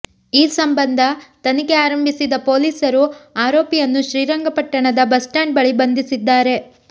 ಈ ಸಂಬಂಧ ತನಿಖೆ ಆರಂಭಿಸಿದ್ದ ಪೊಲೀಸರು ಆರೋಪಿಯನ್ನು ಶ್ರೀರಂಗಪಟ್ಟಣದ ಬಸ್ ಸ್ಟ್ಯಾಂಡ್ ಬಳಿ ಬಂಧಿಸಿದ್ದಾರೆ